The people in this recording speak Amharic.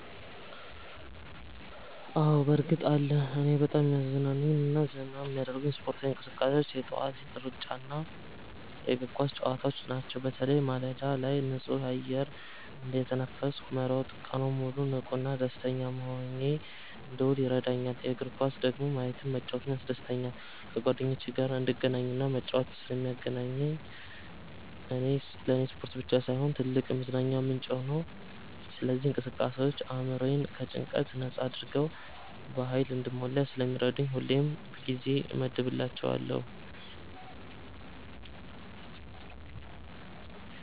አዎ፣ በእርግጥ አለ! እኔን በጣም የሚያዝናኑኝና ዘና የሚያደርጉኝ ስፖርታዊ እንቅስቃሴዎች የጠዋት ሩጫና የእግር ኳስ ጨዋታዎች ናቸው። በተለይ ማለዳ ላይ ንጹህ አየር እየተነፈስኩ መሮጥ ቀኑን ሙሉ ንቁና ደስተኛ ሆኜ እንድውል ይረዳኛል። የእግር ኳስን ደግሞ ማየትም መጫወትም ያስደስተኛል። ከጓደኞቼ ጋር እንድገናኝና እንድጫወት ስለሚያደርገኝ ለኔ ስፖርት ብቻ ሳይሆን ትልቅ የመዝናኛ ምንጭ ነው። እነዚህ እንቅስቃሴዎች አእምሮዬን ከጭንቀት ነጻ አድርገው በሃይል እንድሞላ ስለሚረዱኝ ሁሌም ጊዜ እመድብላቸዋለሁ።